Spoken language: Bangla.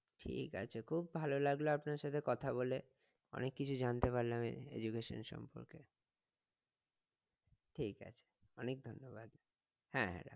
ঠিক আছে খুব ভালো লাগলো আপনার সাথে কথা বলে অনেক কিছু জানতে পারলাম education এর সম্পর্কে ঠিক আছে অনেক ধন্যবাদ হ্যাঁ হ্যাঁ